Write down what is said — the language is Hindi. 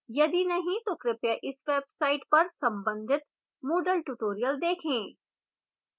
यदि नहीं तो कृपया इस website पर संबंधित moodle tutorials देखें